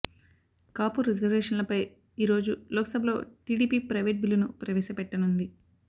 కాపు రిజర్వేషన్లపై ఈరోజు లోక్ సభలో టీడీపీ ప్రైవేట్ బిల్లును ప్రవేశపెట్టనుంది